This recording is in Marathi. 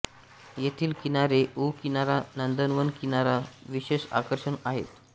येथील किनारे ऊॅं किनारा नंदनवन किनारा विशेष आकर्षण आहेत